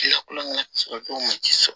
Lakulonkɛ sɔrɔ cogo ma ji sɔrɔ